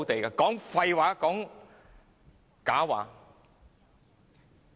說的盡是廢話、假話。